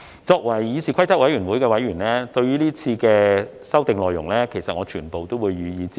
作為議事規則委員會的委員，對於今次的修訂內容，我會全部予以支持。